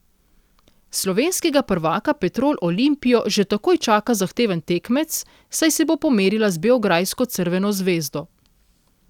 Slovenskega prvaka Petrol Olimpijo že takoj čaka zahteven tekmec, saj se bo pomerila z beograjsko Crveno zvezdo.